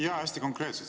Jaa!